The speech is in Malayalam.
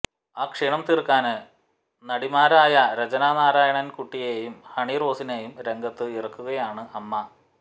ആ ക്ഷീണം തീര്ക്കാന് നടിമാരായ രചന നാരായണന് കുട്ടിയേയും ഹണി റോസിനേയും രംഗത്ത് ഇറക്കുകയാണ് അമ്മ